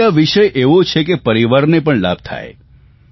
જો કે આ વિષય એવો છે કે પરિવારને પણ લાભ થાય